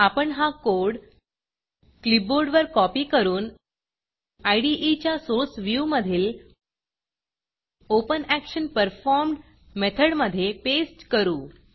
आपण हा कोड क्लिपबोर्डवर कॉपी करून इदे च्या सोर्स व्ह्यूमधील ओपनॅक्शनपरफॉर्म्ड मेथडमधे पेस्ट करू